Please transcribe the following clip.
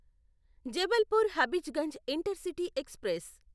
Jabalpur Habibganj intercity express